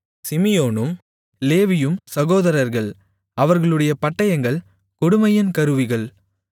சிமியோனும் லேவியும் சகோதரர்கள் அவர்களுடைய பட்டயங்கள் கொடுமையின் கருவிகள்